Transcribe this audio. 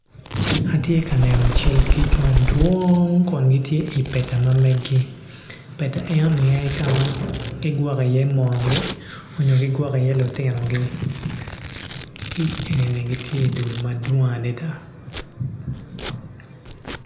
Atye ka neno cal kic madwong kun gitye ipeta ma meg-gi pet eno ni ene kama gigwoko iye moo-gi onyo gigwoko i iye lutinogi ki enini gitye i dul madwong adada.